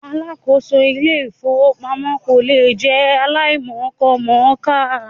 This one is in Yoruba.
Alákòóso Ilé-ìfowópamọ́ kò lè jẹ́ aláìmọkọmọ̀ọ́kà.